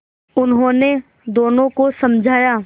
उन्होंने दोनों को समझाया